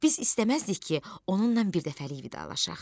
Biz istəməzdik ki, onunla birdəfəlik vidalaşaq.